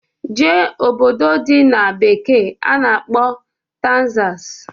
Jee obodo dị na bekee a na-akpọ Tegzas!